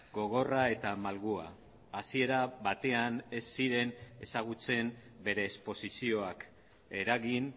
gogorra eta malgua hasiera batean ez ziren ezagutzen bere esposizioak eragin